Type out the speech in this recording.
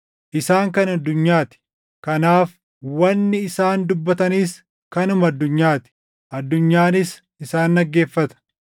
Isaan kan addunyaa ti; kanaaf wanni isaan dubbatanis kanuma addunyaa ti; addunyaanis isaan dhaggeeffata.